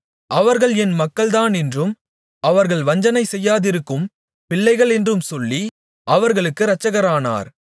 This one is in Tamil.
அவர்கள் என் மக்கள்தானென்றும் அவர்கள் வஞ்சனை செய்யாதிருக்கும் பிள்ளைகளென்றும் சொல்லி அவர்களுக்கு இரட்சகரானார்